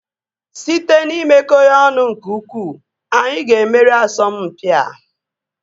Site n'imekọ ya ọnụ nke ukwuu, anyị ga-emeri asọmpi a